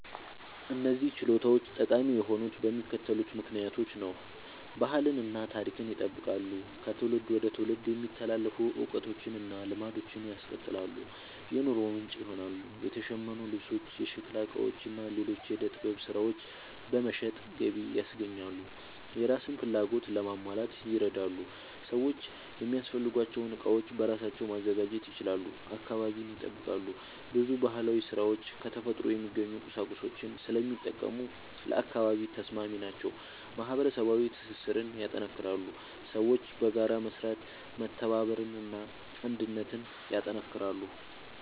እነዚህ ችሎታዎች ጠቃሚ የሆኑት በሚከተሉት ምክንያቶች ነው፦ ባህልን እና ታሪክን ይጠብቃሉ – ከትውልድ ወደ ትውልድ የሚተላለፉ እውቀቶችን እና ልማዶችን ያስቀጥላሉ። የኑሮ ምንጭ ይሆናሉ – የተሸመኑ ልብሶች፣ የሸክላ ዕቃዎች እና ሌሎች የዕደ ጥበብ ሥራዎች በመሸጥ ገቢ ያስገኛሉ። የራስን ፍላጎት ለማሟላት ይረዳሉ – ሰዎች የሚያስፈልጋቸውን ዕቃዎች በራሳቸው ማዘጋጀት ይችላሉ። አካባቢን ይጠብቃሉ – ብዙ ባህላዊ ሥራዎች ከተፈጥሮ የሚገኙ ቁሳቁሶችን ስለሚጠቀሙ ለአካባቢ ተስማሚ ናቸው። ማህበረሰባዊ ትስስርን ያጠናክራሉ – ሰዎች በጋራ በመስራት መተባበርን እና አንድነትን ያጠናክራሉ።